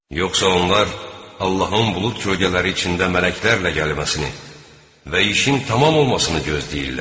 Yoxsa onlar Allahın bulud kölgələri içində mələklərlə gəlib əsməsini və işin tamam olmasını gözləyirlər?